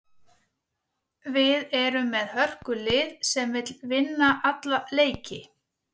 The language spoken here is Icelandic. Við erum með hörkulið sem vill vinna alla leiki.